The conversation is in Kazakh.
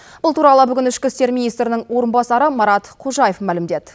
бұл туралы ішкі істер министрінің орынбасары марат қожаев мәлімдеді